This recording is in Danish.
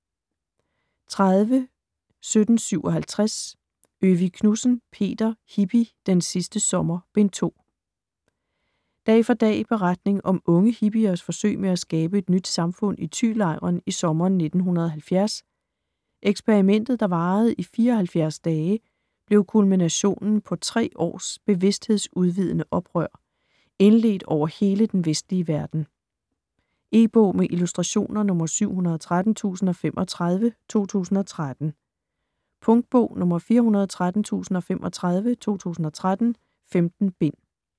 30.1757 Øvig Knudsen, Peter: Hippie: Den sidste sommer: Bind 2 Dag for dag beretning om unge hippiers forsøg med at skabe et nyt samfund i Thylejren i sommeren 1970. Eksperimentet, der varede i 74 dage, blev kulminationen på tre års bevidsthedsudvidende oprør - indledt over hele den vestlige verden. E-bog med illustrationer 713035 2013. Punktbog 413035 2013. 15 bind.